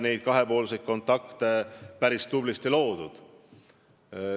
Kahepoolseid kontakte sai päris tublisti loodud.